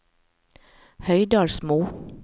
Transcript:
Høydalsmo